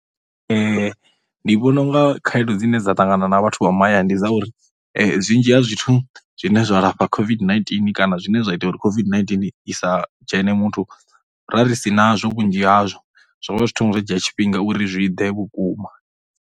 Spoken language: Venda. Ndi vhona u nga khaedu dzine dza ṱangana na vhathu vha mahayani, ndi dza uri zwinzhi ha zwithu zwine zwa lafha COVID-19 kana zwine zwa ita uri COVID-19 i sa dzhene muthu ra ri si nazwo vhunzhi hazwo, zwo vha zwi thoma zwa dzhia tshifhinga uri zwi i ḓe vhukuma.